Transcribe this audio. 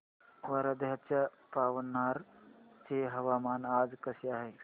वर्ध्याच्या पवनार चे हवामान आज कसे आहे